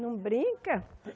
Não brinca.